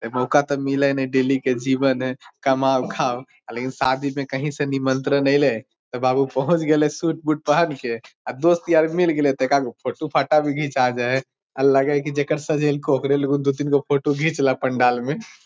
अ मौका ते मिले ने डेली के जीवन हेय कमाओ खाव लेकिन शादी में कहीं से निमंत्रण आईले ते बाबू पहुँच गईले सूट बुट पहन के अ दोस्त यार मिल गईले ते एक आदगो फोटो फाटा भी घीचा जाय हेय आ लगे हेय की जेकर सजाईल को ओकरे लगू दु तीन गो फोटो घीच ला पंडाल में।